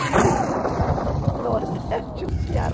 o Nordeste e o Ceará.